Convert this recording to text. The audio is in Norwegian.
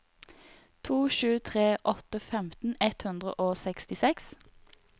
to sju tre åtte femten ett hundre og sekstiseks